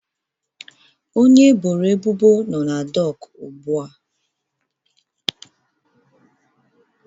Onye eboro ebubo nọ na dọkụ ugbu a